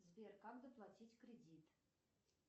сбер как доплатить кредит